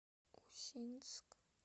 усинск